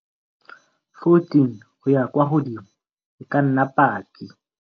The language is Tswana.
14 go ya kwa godimo e ka nna paki.